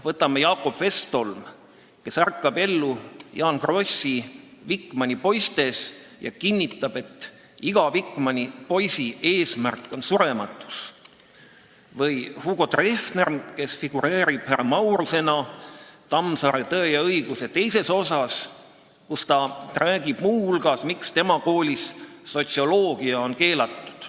Võtame Jakob Westholmi, kes ärkab ellu Jaan Krossi "Wikmani poistes" ja kinnitab, et iga Wikmani poisi eesmärk on surematus, või Hugo Treffneri, kes figureerib härra Maurusena Tammsaare "Tõe ja õiguse" teises osas, kus ta räägib muu hulgas, miks tema koolis on sotsioloogia keelatud.